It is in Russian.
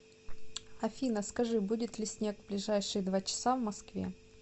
афина скажи будет ли снег в ближайшие два часа в москве